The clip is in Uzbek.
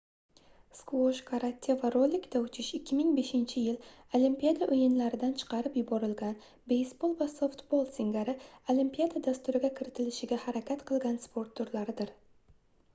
sqvosh karate va rolikda uchish 2005-yil olimpiada oʻyinlaridan chiqarib yuborilgan beysbol va softbol singari olimpiada dasturiga kiritilishiga harakat qilgan sport turlaridir